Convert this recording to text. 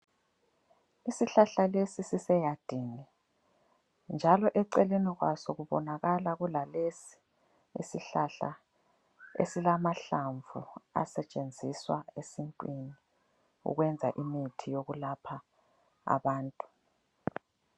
Isihlahla lesi siseyadini, njalo eceleni kwaso kubonakala kulalesi isihlahla esilamahlamvu asetshenziswa esintwini ukwenza imithi yokwelapha abantu.